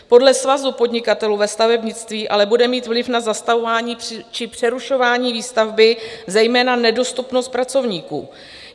Podle Svazu podnikatelů ve stavebnictví ale bude mít vliv na zastavování či přerušování výstavby zejména nedostupnost pracovníků.